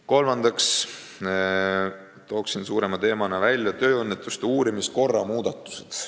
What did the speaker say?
Kolmanda suurema teemana toon välja tööõnnetuste uurimise korra muudatused.